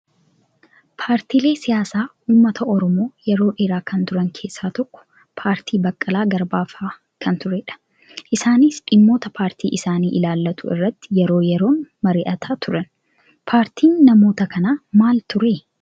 Paartiilee siyaasaa uummata oromoo yeroo dheeraa kan turan keessaa tokko paartii Baqqalaa Garbaa fa'aa kan turedha. Isaanis dhimmoota paartii isaanii ilaallatu irratti yeroo yeroon mari'atan turan. Paartiin namoota kanaa maal turee?